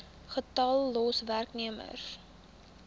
getal los werknemers